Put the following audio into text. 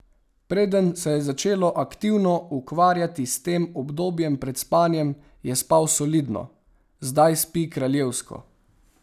Preden se je začel aktivno ukvarjati s tem obdobjem pred spanjem, je spal solidno, zdaj spi kraljevsko.